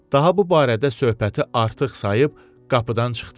Daha bu barədə söhbəti artıq sayıb qapıdan çıxdı.